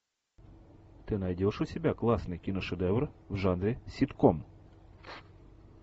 ты найдешь у себя классный киношедевр в жанре ситком